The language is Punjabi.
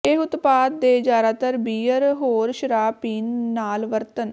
ਇਹ ਉਤਪਾਦ ਦੇ ਜ਼ਿਆਦਾਤਰ ਬੀਅਰ ਹੋਰ ਸ਼ਰਾਬ ਪੀਣ ਨਾਲ ਵਰਤਣ